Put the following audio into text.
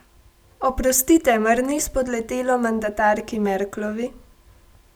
Oprostite, mar ni spodletelo mandatarki Merklovi?